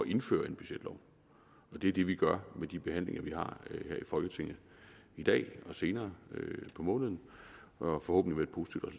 indføre en budgetlov og det er det vi gør med de behandlinger vi har her i folketinget i dag og senere på måneden forhåbentligt